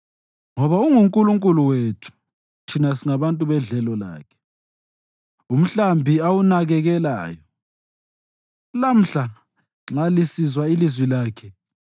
ngoba unguNkulunkulu wethu, thina singabantu bedlelo lakhe, umhlambi awunakekelayo. Lamhla, nxa lisizwa ilizwi lakhe,